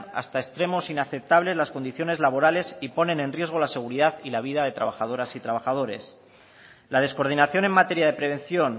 hasta extremos inaceptables las condiciones laborales y ponen en riesgo la seguridad y la vida de trabajadoras y trabajadores la descoordinación en materia de prevención